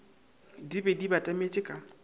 di be di batametše ka